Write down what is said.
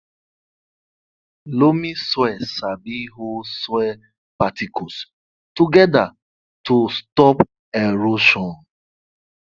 loamy soil sabi hold soil particles together to stop erosion